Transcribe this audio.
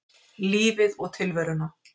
Lífið og tilveruna.